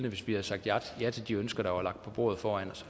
hvis vi havde sagt ja til de ønsker der var lagt på bordet foran os